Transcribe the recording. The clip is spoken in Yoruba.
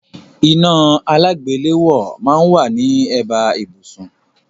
Iná alágbèléwọ́ máà ń wá ní ẹ̀bá ibùsùn